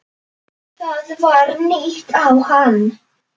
Það var ýtt á hann.